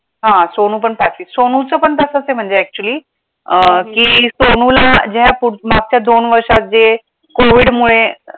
हा सोनू पण पाचवीत, सोनू चा पण तसंच आहे म्हणजे actually अं की सोनूला ज्या पुढ मागच्या दोन वर्षात जे COVID मुळे